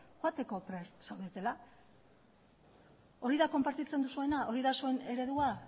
joateko prest zaudetela hori da konpartitzen duzuena hori da zuen eredua